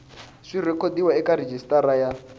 swi rhekhodiwa eka rejistara ya